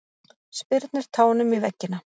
Spyrnir tánum í veggina.